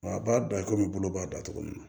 Nka a b'a da komi bolo b'a da cogo min na